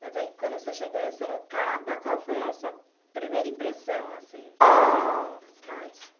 Mas aí, quando você chegou em Sorocaba, qual foi a sua primeira impressão, assim? Ah. Da cidade.